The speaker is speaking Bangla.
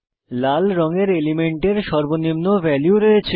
লাল রঙের এলিমেন্টের সর্বনিম্ন ভ্যালু রয়েছে